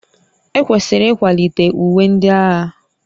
Ekwesịrị ịkwalite uwe ndị agha